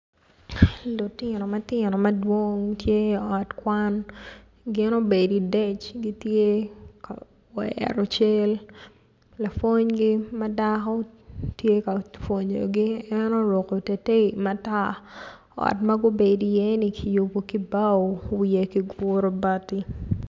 Lutino matino madwong tye i ot kwan gin obedo idec gitye ka goyo ento cal lapwonygi ma dako tye ka pwonyogi en oruko iteitei matar ot ma gubedo iyeni kiyubo ki bao wiye kiguru bati.